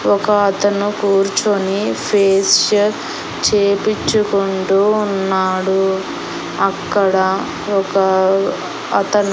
ఒక అతను కూర్చొని ఫేషియల్ చేపిచ్చుకుంటూ ఉన్నాడు. అక్కడ ఒక అతను --